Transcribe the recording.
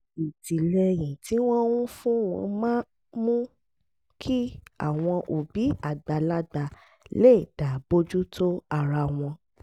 ìtìlẹ́yìn tí wọ́n ń fún wọn máa ń mú kí àwọn òbí àgbàlagbà lè dá bójú tó ara wọn